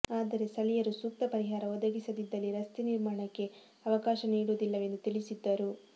ಆದರೆ ಸ್ಥಳೀಯರು ಸೂಕ್ತ ಪರಿಹಾರ ಒದಗಿಸದಿದ್ದಲ್ಲಿ ರಸ್ತೆ ನಿರ್ಮಾಣಕ್ಕೆ ಅವ ಕಾಶ ನೀಡುವುದ್ಲಿಲವೆಂದು ತಿಳಿಸಿದ್ದರು